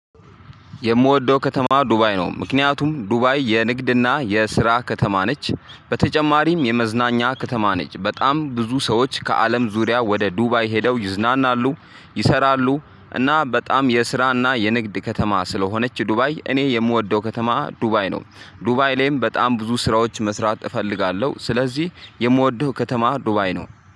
የምወደው ከተማ ዱባይ ነው። ምክንያቱም ዱባይ የንግድና የስራ ከተማ ነች። በተጨማሪም የመዝናኛ ከተማ ነች። በጣም ብዙ ሰዎች ከአለም ዙሪያ ወደ ዱባይ ሄደው ይዝናናሉ። ይሰራሉ እና በጣም የስራና የንግድ ከተማ ስለሆነች ዱባይ እኔ የምወደው ከተማ ዱባይ ነው። ዱባይ ላይም በጣም ብዙ ስራዎች መስራት እፈልጋለሁ። ስለዚህ የምወደው ከተማ ዱባይ ነው።